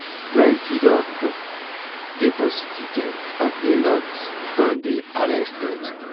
"plenti don um dey prosecuted and a lot don dey arrested.